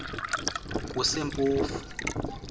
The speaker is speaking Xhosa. kusempofu